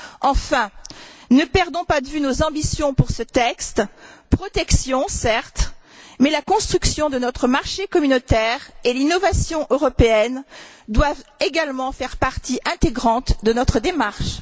Enfin, ne perdons pas de vue nos ambitions pour ce texte la protection, certes, mais la construction de notre marché communautaire et l'innovation européenne doivent également faire partie intégrante de notre démarche.